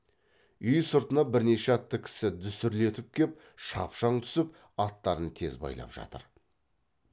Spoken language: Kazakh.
үй сыртына бірнеше атты кісі дүсірлетіп кеп шапшаң түсіп аттарын тез байлап жатыр